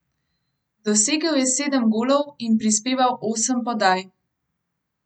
Dosegel je sedem golov in prispeval osem podaj.